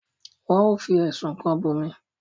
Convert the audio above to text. nwọn o fí ẹsùn kán Bunmi.